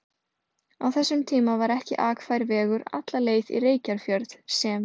Á þessum tíma var ekki akfær vegur alla leið í Reykjarfjörð sem